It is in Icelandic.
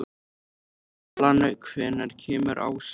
Allan, hvenær kemur ásinn?